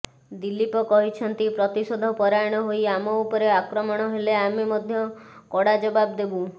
ଦିଲ୍ଲୀପ କହିଛନ୍ତି ପ୍ରତିଶୋଧ ପରାୟଣ ହୋଇ ଆମ ଉପରେ ଆକ୍ରମଣ ହେଲେ ଆମେ ମଧ୍ୟ କଡ଼ା ଜବାବ ଦେବୁ